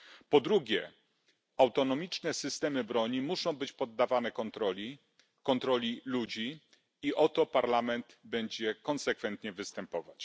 Po drugie, autonomiczne systemy broni muszą być poddawane kontroli ludzi i o to Parlament będzie konsekwentnie występować.